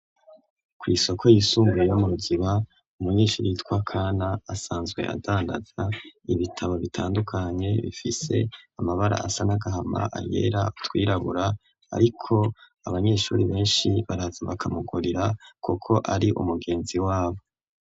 ku isoko yisunbuye yo mu Ruziba umunyeshuri yitwa Kana asanzwe adandaza ibitabo bitandukanye bifise amabara asa n'agahama ayera utwirabura ariko abanyeshuri beshi baraza bakamugurira kuko ari umugenzi wabo.